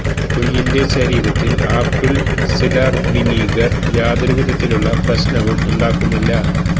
കുഞ്ഞിന്റെ ശരീരത്തില് apple cider vinegar യാതൊരു വിധത്തിലുള്ള പ്രശ്നവും ഉണ്ടാക്കുന്നില്ല